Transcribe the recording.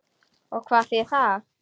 Og hvað þýðir það?